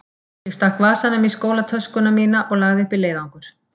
Ég stakk vasanum í skólatöskuna mína og lagði upp í leiðangur.